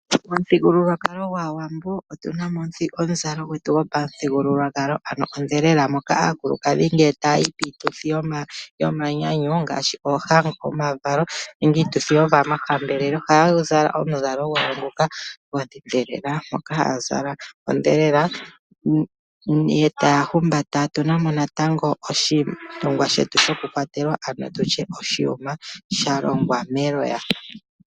Momuthigululwakalo gwaawambo otu na mo omuzalo gwetu gwopamuthigululwakalo, ano odhelela moka aakulukadhi ngele taya yi piituthi yomanyanyu ngaashi oohango, omavalo nenge iituthi yomahambelelo ohaya zala omuzalo gwawo ngoka gwodhelela, ngoka haya zala odhelela nenge taya humbata. Otuna mo natango oshinima shetu shoku kwatela nenge tutye oshiyuma sha longwa meloya.